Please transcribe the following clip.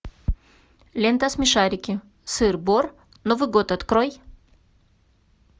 лента смешарики сыр бор новый год открой